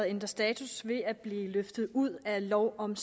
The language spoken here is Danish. ændre status ved at blive løftet ud af lov om